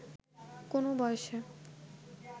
কোন বয়সে